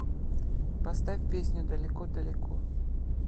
поставь песню далеко далеко